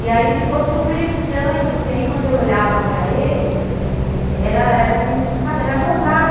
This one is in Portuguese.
E aí ficou super estranho, porque aí quando eu olhava para ele, era assim, sabe, era era gozado.